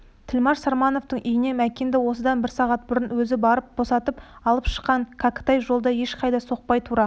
тілмаш сармановтың үйінен мәкенді осыдан бір сағат бұрын өзі барып босатып алып шыққан кәкітай жолда ешқайда соқпай тура